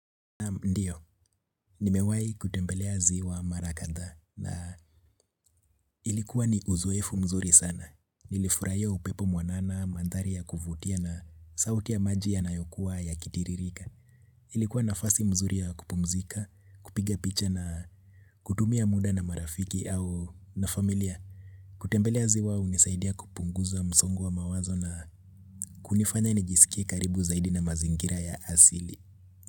Ndio, nimewahi kutembelea ziwa mara kadhaa na ilikuwa ni uzoefu mzuri sana. Nilifurahia upepo mwanana, mandhari ya kuvutia na sauti ya maji yanayokuwa yakitiririka. Ilikuwa nafasi nzuri ya kupumzika, kupiga picha na kutumia muda na marafiki au na familia. Kutembelea ziwa hunisaidia kupunguza msongo wa mawazo na kunifanya nijisikie karibu zaidi na mazingira ya asili.